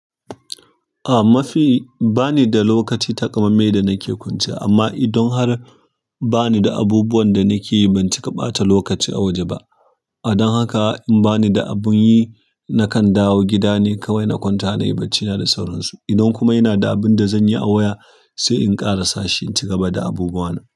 A mafi ba ni da lokaci taƙammame da nake kwance, amma idon har ba ni da abubuwan da nake yi ban ciƙa ɓata lokaci a waje ba. Don haka in ba ni da abin yi, nakan dawo gida ne kawai na kwanta nayi bacina da sauransu. Idan kuma ina da abunda zanyi da waya, sai in ƙarasashi in cigaba da abubuwana.